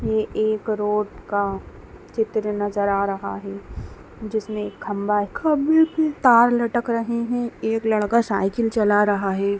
ये एक रोड का चित्र नजर आ रहा हैं जिसमे एक खंबा है जिसमे तार लटक रहे है एक लड़का साइकिल चला रहा है।